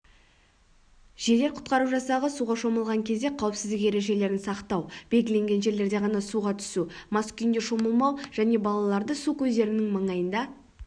жедел-құтқару жасағы суға шомылған кезде қауіпсіздік ережелерін сақтау белгіленген жерлерде ғана суға түсу мас күйінде шомылмау және балаларды су көздерінің маңайында